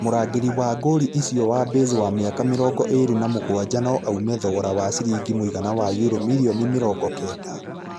Mũrangĩribwa gori ũcio wa Baze wa mĩaka mĩrongo ĩrĩ na mũgwanja no aume thogora wa ciringi mũigana wa Euro mirioni mĩrongo kenda.